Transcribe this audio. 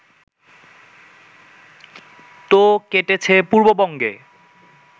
তো কেটেছে পূর্ববঙ্গে